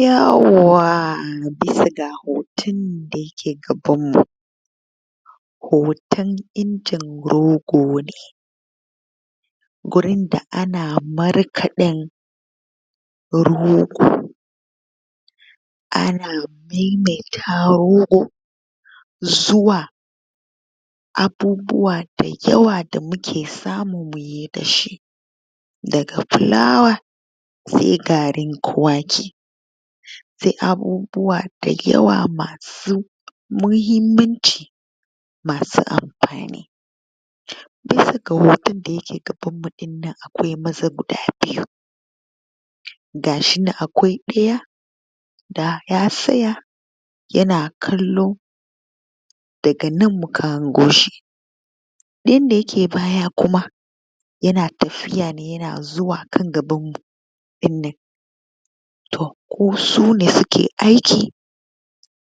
Yawwa! Bisa ga hoton nan da ya ke gabanmu, hoton injin rogo ne, gurin da ana markaɗen rogo, ana mammaida rogo zuwa abubuwa da yawa da mu ke samu mu yi da shi, daga fulawa sai garin kwaki, sai abubuwa da yawa ma su muhimmanci masu amfani, bisa ga hoton nan da ya ke gabanmu ɗin nan akwai maza guda biyu, ga shi nan akwai ɗaya da ya tsaya ya na kallo daga nan muka hango shi ɗayan da ya ke baya kuma ya na tafiya ne ya na zuwa kan gabanmu ɗinnan, to ko sune suke aiki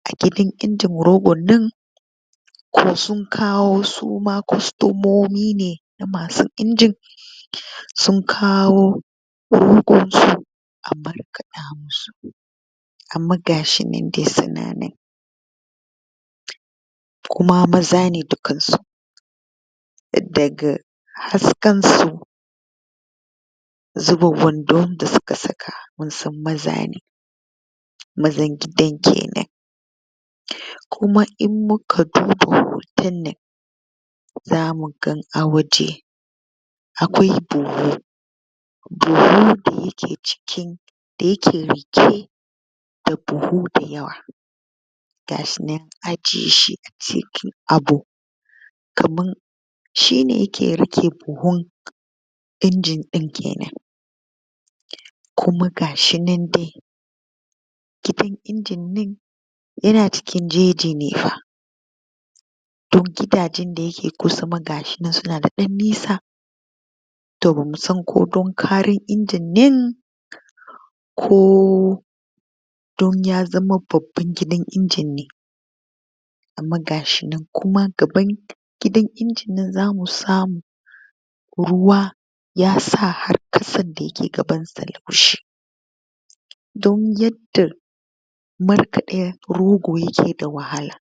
a gidan injin gogon nan ko suma sun kawo kostomomi ne ma su injin, sun kawo rogonsu a markaɗa masu, amma ga shi nan dai su na nan kuma maza ne dukan su, daga fusakansu, zubin wandon da suka saka mun san maza ne, mazan gidan kenan, kuma in muka duba hoton nan za mu ga a waje akwai buhu buhu da ya ke cikin da ya ke riƙe, da buhu da yawa, ga shi nan an ajiye shi a cikin abu kaman shine ke riƙe buhun injin ɗin kenan, kuma ga shi nan dai gidan injin nan ya na cikin jeji ne fa, don gidajen da ya ke kusa ma ga su nan su na da ɗan nisa, to bamu san ko don ƙaran injin nan ko don ya zama babban gidan injin ne, amma ga shi nan kuma gaban gidan injin nan za mu samu ruwa ya sa har ƙasan da ya ke gabansa laushi, don yadda markaɗen rogo yake da wahala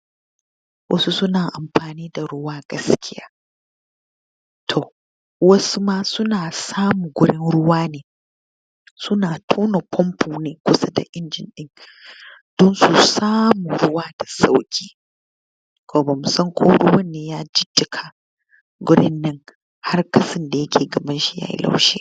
wasu su na amfani da ruwa gaskiya, to wasu ma su na samun gurin ruwa ne su na tona famfo ne kusa da injin ɗin don su samu ruwa da sauƙi, to bamu san ko ruwan ne ya jijjiƙa gurin nan har ƙasan da yake gabanshi yayi laushi.